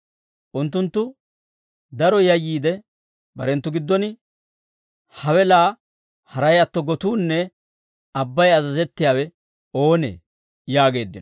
Unttunttu daro yayyiide barenttu giddon, «Hawe laa haray atto, gotuunne abbay azazettiyaawe oonee?» yaageeddino.